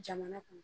Jamana kɔnɔ